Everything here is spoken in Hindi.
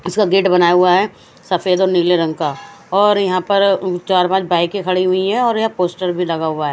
इसका गेट बनाया हुआ हैं सफेद और नील रंग का और यहा पे चार पाच बाइके खड़ी हुई हैं और यहा पोस्टर भी लगा हुआ हैं।